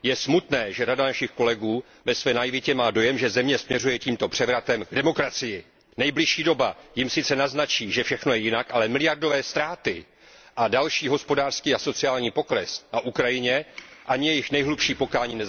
Je smutné, že řada našich kolegů ve své naivitě má dojem, že země směřuje tímto převratem k demokracii. Nejbližší doba jim sice naznačí, že všechno je jinak, ale miliardové ztráty a další hospodářský a sociální pokles na Ukrajině nezastaví ani jejich nejhlubší pokání.